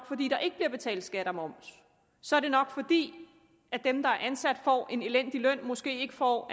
fordi der ikke bliver betalt skat og moms så er det nok fordi dem der er ansat får en elendig løn måske ikke får